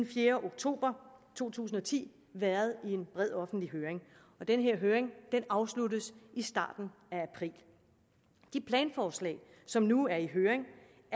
fjerde oktober to tusind og ti været i en bred offentlig høring og den høring afsluttes i starten af april de planforslag som nu er i høring